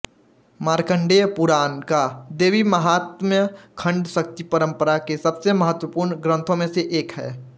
मार्कण्डेय पुराण का देवीमाहात्म्य खंड शक्ति परंपरा के सबसे महत्वपूर्ण ग्रंथों में से एक है